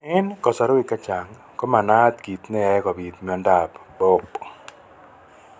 Eng' kasarwek chechang ko manaat kiit neyoe kobit miondop BOOP